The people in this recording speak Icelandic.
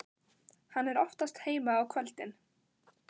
Hann er oftast heima á kvöldin.